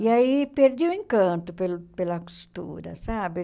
E aí, perdi o encanto pelo pela costura, sabe?